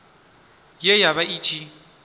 ye ya vha i tshi